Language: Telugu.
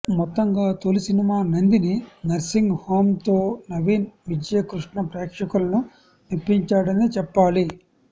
మొత్తంగా తొలిసినిమా నందిని నర్సింగ్ హోమ్తో నవీన్ విజయ్కృష్ణ ప్రేక్షకులను మెప్పించాడనే చెప్పాలి